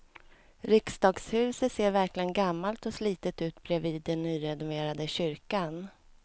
Riksdagshuset ser verkligen gammalt och slitet ut bredvid den nyrenoverade kyrkan.